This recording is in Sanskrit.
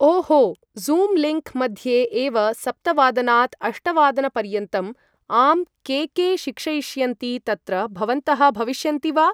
ओ हो ज़ूं लिङ्क् मध्ये एव सप्तवादनात् अष्टवादनपर्यन्तम् आं के के शिक्षयिष्यन्ति तत्र भवन्तः भविष्यन्ति वा ?